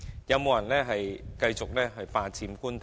有沒有人繼續霸佔官地？